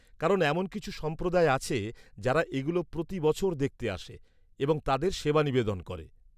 -কারণ এমন কিছু সম্প্রদায় আছে যারা এগুলো প্রতি বছর দেখতে আসে এবং তাদের সেবা নিবেদন করে।